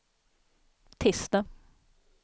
tisdag